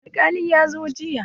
Alƙalin ya zo jiya.